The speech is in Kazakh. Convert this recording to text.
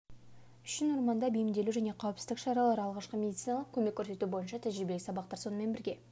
үшін орманда бейімделу және қауіпсіздік шаралары алғашқы медициналық көмек көрсету бойынша тәжірибелік сабақтар сонымен бірге